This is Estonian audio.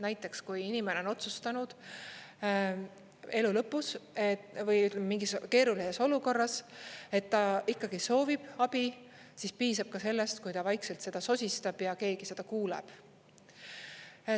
Näiteks, kui inimene on otsustanud elu lõpus või mingis keerulises olukorras, et ta ikkagi soovib abi, siis piisab ka sellest, kui ta vaikselt seda sosistab ja keegi seda kuuleb.